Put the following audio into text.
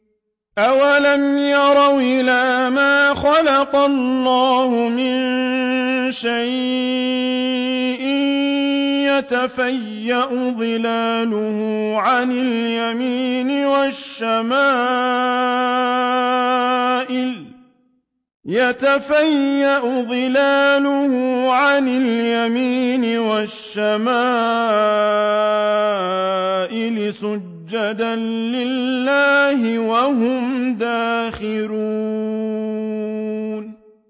أَوَلَمْ يَرَوْا إِلَىٰ مَا خَلَقَ اللَّهُ مِن شَيْءٍ يَتَفَيَّأُ ظِلَالُهُ عَنِ الْيَمِينِ وَالشَّمَائِلِ سُجَّدًا لِّلَّهِ وَهُمْ دَاخِرُونَ